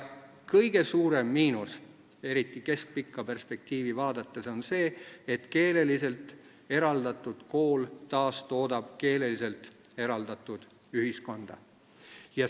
Kõige suurem miinus – eriti keskpikka perspektiivi vaadates – on see, et keeleliselt eraldatud kool taastoodab keeleliselt eraldatud ühiskonda.